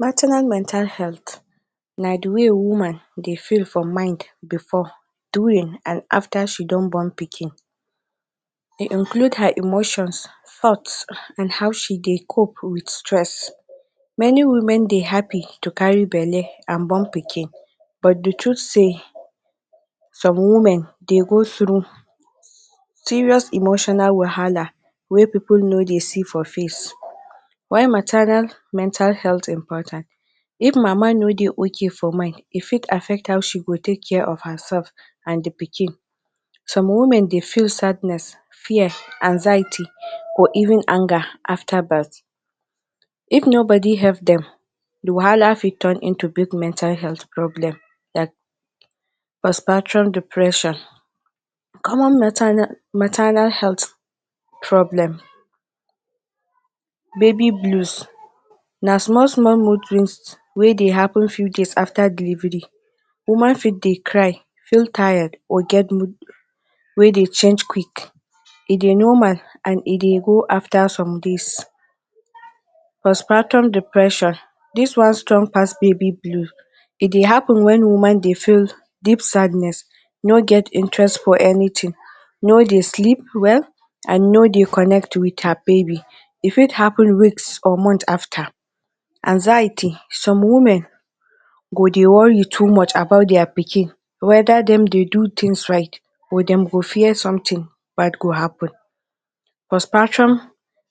Maternal mental health na di way woman dey feel for mind bifor, during and afta she don born pikin. E include her emotions, thoughts and how she dey cope wit stress. Many women dey happy to carry belle and born pikin but di truths say some women dey go through serious emotional wahala wey pipo no dey see for face. Why maternal mental health important? If mama no dey OK for mind, e fit affect how she go take care of herself and di pikin. Some women dey feel sadness, fear, anxiety or even anger afta birth. If no body help dem wahala fit turn into big mental health problem like post partum depression. Common maternal health problem Baby blues. Na small small mood swings wey dey happun few days afta delivery, woman fit dey cry, feel tired or get mood wey dey change quick. E dey normal and e dey go afta some days. Post partum depression. Dis one strong pass baby blues. E dey happun wen woman dey feel deep sadness, no get interest for anything no dey sleep well, and no dey connect with her baby. E fit happun weeks or months after. Anxiety. Some women go dey worry top much about dia pikin weda dem dey do tins right, or dem go fear sometin bad go happun. Post partum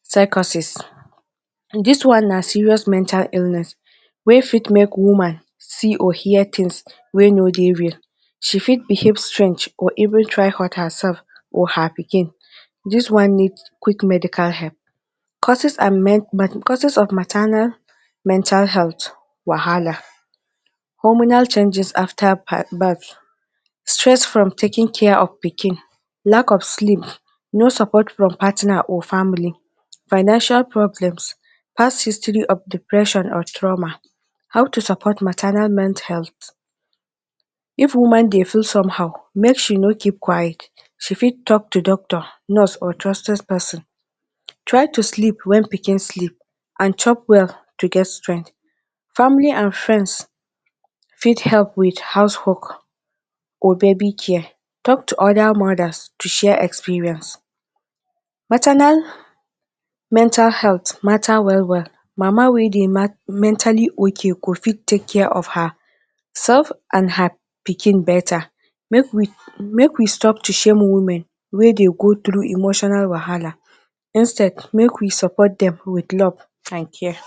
psychosis. Dis one na serious mental illness wey fit make woman see or hear tins wey no dey real. She fit behave strange oreven try hurt her sef or her pikin dis one need quick medical help. Causes of maternal mental health Wahala. Hormonal changes afta birth, stress from taking care of pikin. Lack of sleep. No support from partner or family. Financial problem, past history of depression or trauma. How to support maternal mental health. If woman dey feel somehow, make she no keep quiet, she fit talk to doctor, nurse or trusted pesin. Try to sleep wen pikin sleep and chop well to get strength. Family and friends fit help wit house wok or baby care, tok to oda mothers to share experience. Maternal mental health, matta wel wel, mama wey dey mentally ok go fit take care of her sef and her pikin betta. Make we stop to shame women, make dey go do emotional wahala, instead make we support dem with love and care.